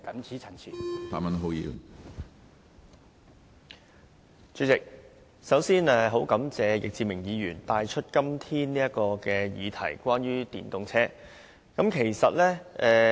主席，我首先感謝易志明議員今天提出有關電動車的議題。